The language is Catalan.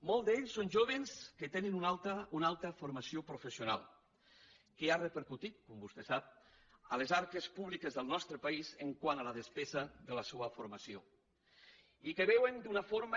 molts d’ells són jóvens que tenen una alta formació professional que ha repercutit com vostè sap a les arques públiques del nostre país quant a la despesa de la seua formació i que veuen d’una forma